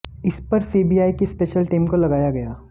इस पर सीबीआई की स्पेशल टीम को लगाया गया